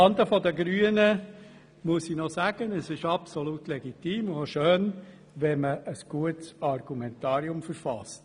Zuhanden der Grünen muss ich noch sagen, dass es absolut legitim und auch schön ist, wenn man ein gutes Argumentarium verfasst.